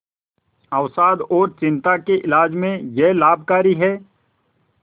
अवसाद और चिंता के इलाज में यह लाभकारी है